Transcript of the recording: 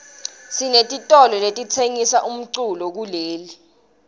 sinetitolo letitsengisa umculo kuleli